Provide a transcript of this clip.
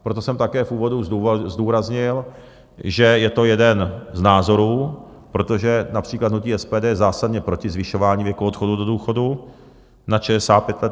Proto jsem také v úvodu zdůraznil, že je to jeden z názorů, protože například hnutí SPD je zásadně proti zvyšování věku odchodu do důchodu nad 65 let.